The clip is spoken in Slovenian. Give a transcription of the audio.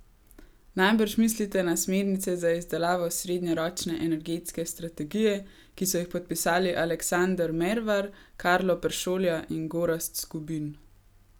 Najbrž mislite na smernice za izdelavo srednjeročne energetske strategije, ki so jih podpisali Aleksander Mervar, Karlo Peršolja in Gorazd Skubin?